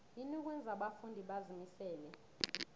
yini okwenza abafundi bazimisele